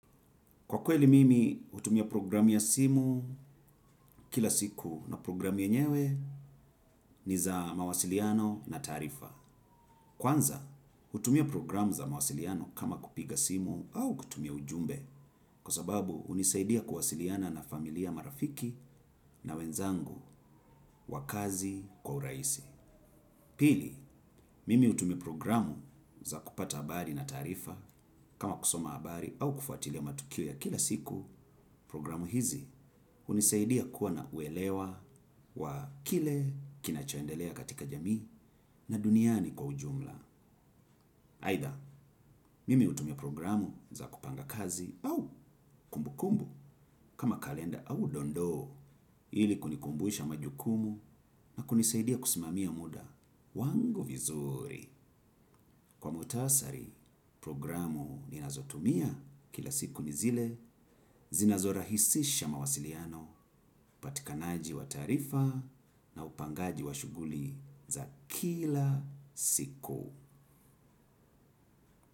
Kwa kweli mimi, utumia programu ya simu kila siku na programu yenyewe ni za mawasiliano na taarifa. Kwanza, utumia programu za mawasiliano kama kupiga simu au kutumia ujumbe kwa sababu unisaidia kuwasiliana na familia marafiki na wenzangu wa kazi kwa uraisi. Pili, mimi utumia programu za kupata habari na tarifa kama kusoma habari au kufuatilia matukio ya kila siku. Programu hizi hunisaidia kuwa na uelewa wa kile kinachoendelea katika jamii na duniani kwa ujumla. Aidha, mimi utumia programu za kupanga kazi au kumbukumbu kama kalenda au dondoo ili kunikumbusha majukumu na kunisaidia kusimamia muda. Wangu vizuri, kwa mutasari, programu ninazotumia kila siku nizile, zinazora hisisha mawasiliano, upatikanaji wa tarifa na upangaji wa shuguli za kila siku.